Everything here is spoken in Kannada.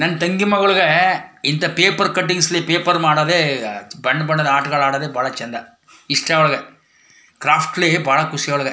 ನನ್ ತಂಗಿ ಮಗಳಿಗೆ ಇಂತ ಪೇಪರ್ ಕಟ್ಟಿಂಗ್ಸ್ ಲಿ ಪೇಪರ್ ಮಾಡೋದೇ ಆ-ಬಂಬಣ್ಣದ ಆಟ ಆಡೋದೇ ಬಹಳ ಚೆಂದ ಇಷ್ಟ ಅವ್ಳಿಗೆ ಕ್ರಾಫ್ಟ್ಲಿ ಬಹಳ ಖುಷಿ ಅವ್ಳಿಗೆ.